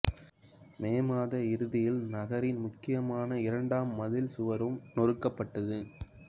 மே மாத இறுதியில் நகரின் முக்கியமான இரண்டாம் மதில் சுவரும் நொறுக்கப்பட்டது